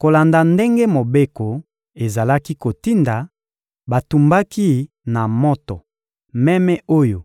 Kolanda ndenge mobeko ezalaki kotinda, batumbaki na moto meme oyo